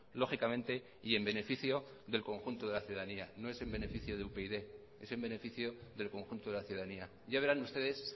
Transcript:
lógicamente y en beneficio del conjunto de la ciudadanía no es en beneficio de upyd es en beneficio del conjunto de la ciudadanía ya verán ustedes